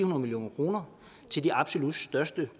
million kroner til de absolut største